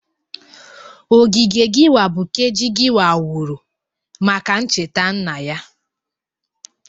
Ogige Giwa bụ Keji Giwa wuru maka ncheta nna ya.